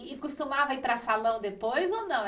E e costumava ir para salão depois ou não?